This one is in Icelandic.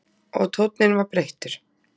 Og tónninn var breyttur.